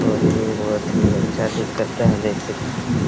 और ये बहुत ही अच्छा ठीक करता है देख सकते है।